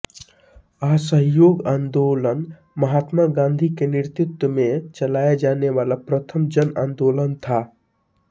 असहयोग आंदोलन महात्मा गांधी के नेतृत्व मे चलाया जाने वाला प्रथम जन आंदोलन था